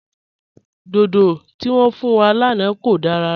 Dòdò tí wọn fún wa lánà kò dára rárà.